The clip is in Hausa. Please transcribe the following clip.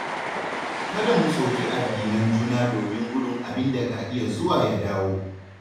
Kada mu soki addinan juna domin gudun abin ka iya zuwa ya dawo.